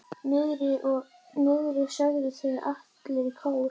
Niðri, sögðu þeir allir í kór.